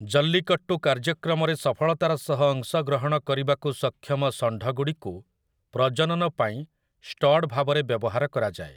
ଜଲ୍ଲିକଟ୍ଟୁ କାର୍ଯ୍ୟକ୍ରମରେ ସଫଳତାର ସହ ଅଂଶଗ୍ରହଣ କରିବାକୁ ସକ୍ଷମ ଷଣ୍ଢଗୁଡ଼ିକୁ ପ୍ରଜନନ ପାଇଁ ଷ୍ଟଡ୍ ଭାବରେ ବ୍ୟବହାର କରାଯାଏ ।